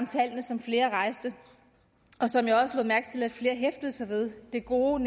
tallene som flere rejste og som jeg også lagde mærke til flere hæftede sig ved det gode